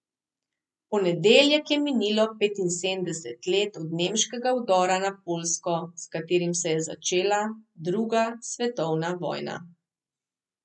V ponedeljek je minilo petinsedemdeset let od nemškega vdora na Poljsko, s katerim se je začela druga svetovna vojna.